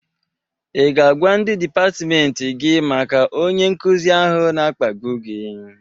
I ga-agwa ndị dịpatmenti gị maka onye nkụzị ahụ na-akpagbu gị?